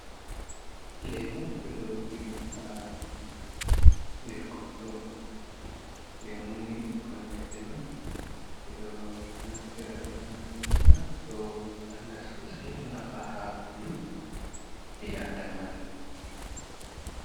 Leemu ɓe ɗo rufi ɗe haa nder konndo .Leemuni ɓikkoy ledde on ,ɓe ɗo naftira be man, ɓe ɗo mura ɗo walla soosay ,ɗo nafa haa ɓanndu , ɓii adamaajo.